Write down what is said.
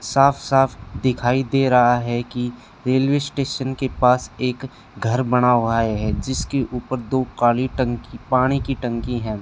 साफ साफ दिखाई दे रहा है कि रेलवे स्टेशन के पास एक घर बना हुआ है जिसके ऊपर दो काली टंकी पानी की टंकी हैं।